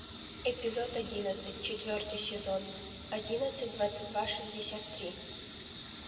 эпизод одиннадцать четвертый сезон одиннадцать двадцать два шестьдесят три